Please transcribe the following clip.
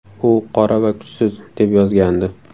U qora va kuchsiz”, deb yozgandi.